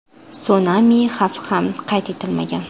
Sunami xavfi ham qayd etilmagan.